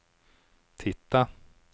tittade